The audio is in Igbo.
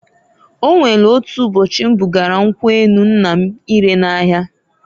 O nwelu otu ụbọchị m bugara nkwu enu nna m ire n'ahia.